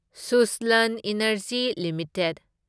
Suzlon energy limited